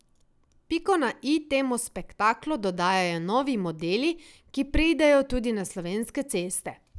Piko na i temu spektaklu dodajajo novi modeli, ki pridejo tudi na slovenske ceste.